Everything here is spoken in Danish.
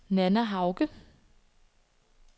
Nanna Hauge